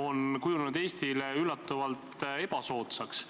on kujunenud Eestile üllatavalt ebasoodsaks.